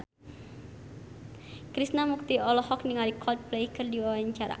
Krishna Mukti olohok ningali Coldplay keur diwawancara